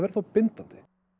þá bindandi